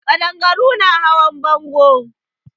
Ƙadangaru na hawan bango.